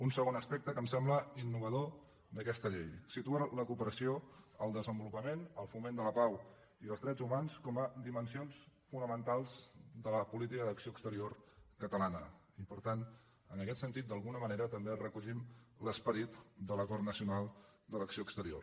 un segon aspecte que em sembla innovador d’aquesta llei situa la cooperació el desenvolupament el foment de la pau i els drets humans com a dimensions fonamentals de la política d’acció exterior catalana i per tant en aquest sentit d’alguna manera també recollim l’esperit de l’acord nacional d’acció exterior